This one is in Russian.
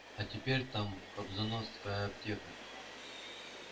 а теперь там кобзоносская аптека